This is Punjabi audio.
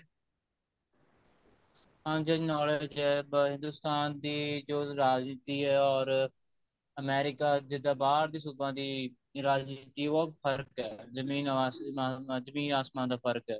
ਹਾਂਜੀ ਹਾਂਜੀ knowledge ਹੈ ਪਰ ਹਿੰਦੁਸਤਾਨ ਦੀ ਜੋ ਰਾਜਨੀਤੀ ਹੈ or America ਜਿੱਦਾਂ ਬਾਹਰ ਦੀ ਸੂਬਾਂ ਦੀ ਰਾਜਨੀਤੀ ਉਹ ਫਰਕ਼ ਹੈ ਜਮੀਨ ਆਸਮਾਨ ਜਮੀਨ ਆਸਮਾਨ ਦਾ ਫਰਕ਼ ਐ